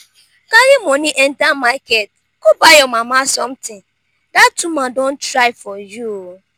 carry money enter market go buy your mama something dat woman don try for you